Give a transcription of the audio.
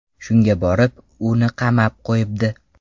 Shunga borib, uni qamab qo‘yibdi.